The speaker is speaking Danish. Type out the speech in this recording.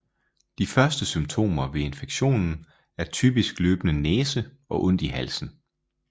De første symptomer ved infektionen er typisk løbende næse og ondt i halsen